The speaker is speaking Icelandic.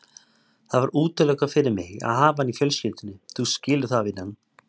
Það var útilokað fyrir mig að hafa hann í fjölskyldunni, þú skilur það, vinan.